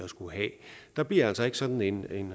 skulle have der bliver altså ikke sådan en